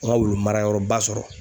An ŋa wulu marayɔrɔba sɔrɔ